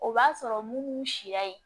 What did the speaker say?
O b'a sɔrɔ mun b'u sira ye